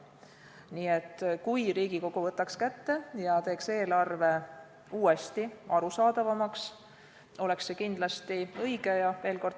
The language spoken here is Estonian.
Nii et kui Riigikogu võtaks kätte ja teeks eelarve uuesti arusaadavamaks, oleks see kindlasti õige.